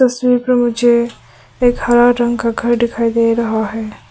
तस्वीर पर मुझे एक हरा रंग का घर दिखाई दे रहा है।